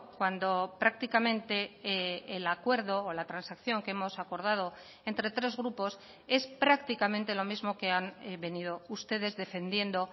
cuando prácticamente el acuerdo o la transacción que hemos acordado entre tres grupos es prácticamente lo mismo que han venido ustedes defendiendo